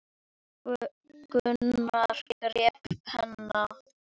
Gunnar greip penna.